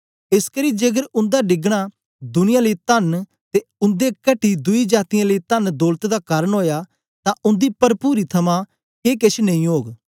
एसकरी जेकर उन्दा डिगना दुनिया लेई तन्न ते उन्दे घटी दुई जातीयें लेई तन्न दौलत दा कारन ओया तां उन्दी परपुरी थमां के केछ नेई ओग